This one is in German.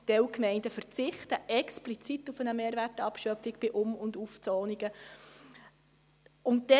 Einige Gemeinden verzichten explizit auf eine Mehrwertabschöpfung bei Um- und Aufzonungen.